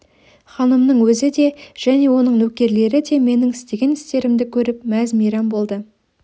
ханымның өзі де және оның нөкерлері де менің істеген істерімді көріп мәз-мейрам болды